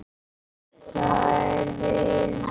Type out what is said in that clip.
Það er vinnan.